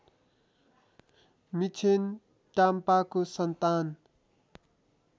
मिक्षेन टाम्पाको सन्तान